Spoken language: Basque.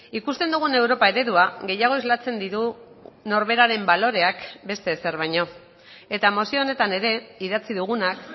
ikusten dugun europa eredua gehiago islatzen ditu norberaren baloreak beste ezer baino eta mozio honetan ere idatzi dugunak